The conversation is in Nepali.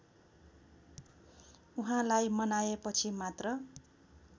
उहाँलाई मनाएपछि मात्र